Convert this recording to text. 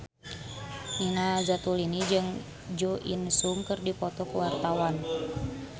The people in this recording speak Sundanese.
Nina Zatulini jeung Jo In Sung keur dipoto ku wartawan